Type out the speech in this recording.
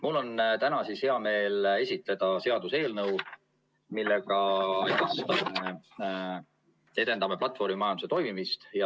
Mul on täna hea meel esitleda seaduseelnõu, millega edendame platvormimajanduse toimimist.